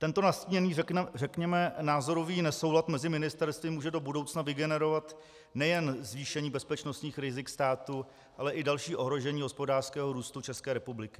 Tento nastíněný řekněme názorový nesoulad mezi ministerstvy může do budoucna vygenerovat nejen zvýšení bezpečnostních rizik státu, ale i další ohrožení hospodářského růstu České republiky.